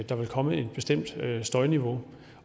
der ville komme et bestemt støjniveau